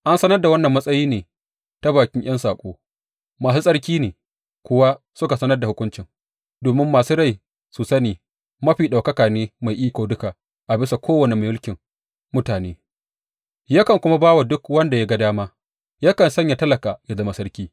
An sanar da wannan matsayi ne ta bakin ’yan saƙo, masu tsarki ne kuwa suka sanar da hukuncin, domin masu rai su sani Mafi Ɗaukaka ne mai iko duka a bisa kowane mulkin mutane, yakan kuma ba wa duk wanda ya ga dama, yakan sanya talaka yă zama sarki.’